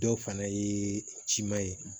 Dɔw fana ye ciman ye